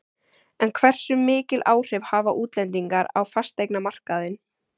En hversu mikil áhrif hafa útlendingar á fasteignamarkaðinn?